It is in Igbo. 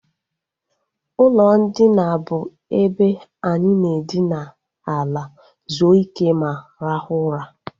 Ụlọ ndina bụ ebe anyị na edina ala zuo ike ma rahụ ụra